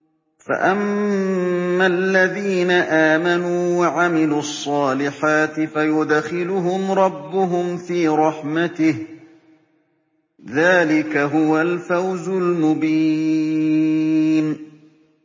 فَأَمَّا الَّذِينَ آمَنُوا وَعَمِلُوا الصَّالِحَاتِ فَيُدْخِلُهُمْ رَبُّهُمْ فِي رَحْمَتِهِ ۚ ذَٰلِكَ هُوَ الْفَوْزُ الْمُبِينُ